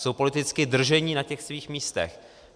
Jsou politicky drženi na těch svých místech.